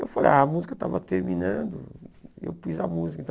Eu falei, ah, a música estava terminando, eu pus a música.